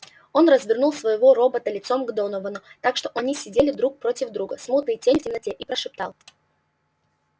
он развернул своего робота лицом к доновану так что они сидели друг против друга смутные тени в темноте и прошептал